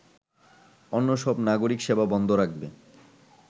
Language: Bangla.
অন্য সব নাগরিক সেবা বন্ধ রাখবে